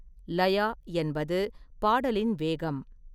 லயா என்பது பாடலின் வேகம்.